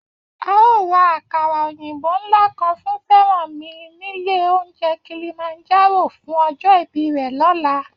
A óò ra àkàrà òyìnbó ńlá kan fún Fẹ́rànmi nílé oúnjẹ Kilimanjaro fún ọjọ́ ìbí rẹ̀ lọ́la